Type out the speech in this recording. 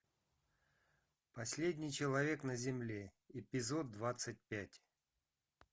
последний человек на земле эпизод двадцать пять